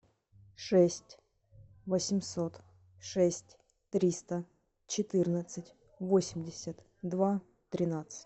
шесть восемьсот шесть триста четырнадцать восемьдесят два тринадцать